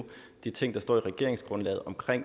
de ting der står i regeringsgrundlaget om